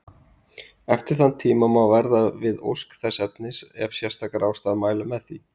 Eftir þann tíma má verða við ósk þess efnis ef sérstakar ástæður mæla með því.